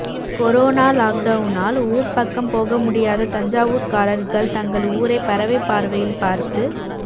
corona லாக்டவுனால் ஊர் பக்கம் போக முடியாத தஞ்சாவூர்காரர்கள் தங்கள் ஊரை பறவை பார்வையில் பார்த்து